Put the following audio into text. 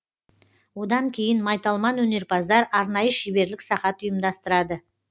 одан кейін майталман өнерпаздар арнайы шеберлік сағат ұйымдастырады